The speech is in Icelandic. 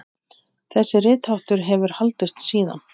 Þessi ritháttur hefur haldist síðan.